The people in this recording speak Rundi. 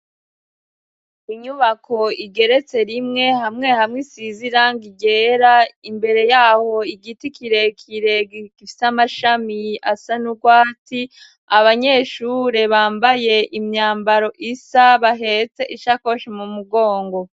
Inyubako igeretse rimwe hamwe hamwe isize irangi ryera, imbere ya ho igiti kirekire gifise amashami asa n'urwatsi, abanyeshure bambaye imyambaro isa bahetse ishakoshi mu mugongo.